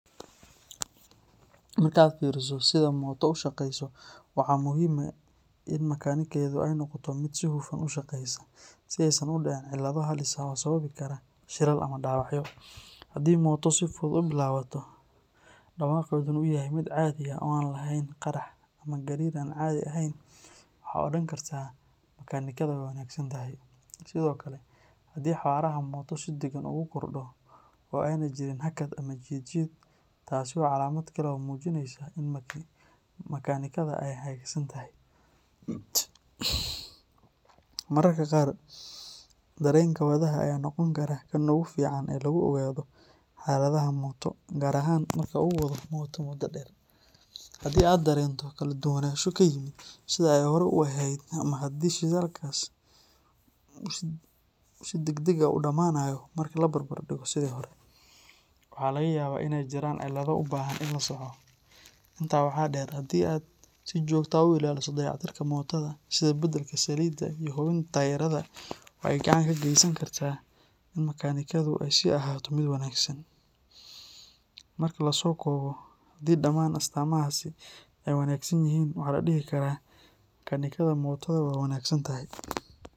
Marka aad fiiriso sida mooto u shaqayso, waxa muhiim ah in makaanikadeedu ay noqoto mid si hufan u shaqaysa, si aysan u dhicin cilado halis ah oo sababi kara shilal ama dhaawacyo. Haddii mooto si fudud u bilaabato, dhawaaqeeduna uu yahay mid caadi ah oo aan lahayn qarxar ama gariir aan caadi ahayn, waxaad odhan kartaa makaanikada waa wanaagsan tahay. Sidoo kale, haddii xawaaraha mooto si deggan ugu kordho oo aanay jirin hakad ama jiid jiid, taasi waa calaamad kale oo muujinaysa in makaanikada ay hagaagsan tahay. Mararka qaar, dareenka wadaha ayaa noqon kara kan ugu fiican ee lagu ogaado xaaladda mooto, gaar ahaan marka uu wado mooto muddo dheer. Haddii aad dareento kala duwanaansho ku yimid sidii ay hore u ahayd ama haddii shidaalka uu si degdeg ah u dhammaanayo marka la barbar dhigo sidii hore, waxaa laga yaabaa in ay jiraan cilado u baahan in la saxo. Intaa waxaa dheer, haddii aad si joogto ah u ilaaliso dayactirka mootoada, sida beddelka saliidda iyo hubinta taayirrada, waxa ay gacan ka geysan kartaa in makaanikadu ay sii ahaato mid wanaagsan. Marka la soo koobo, haddii dhammaan astaamahaasi ay wanaagsan yihiin, waxaa la dhihi karaa makaanikada mootoada waa wanaagsan tahay.